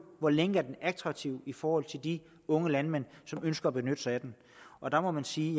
hvor længe er den attraktiv i forhold til de unge landmænd som ønsker at benytte sig af den og der må man sige at